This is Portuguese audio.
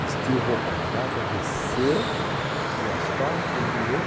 Vestiu roupa nova, desceu para o asfalto e virou.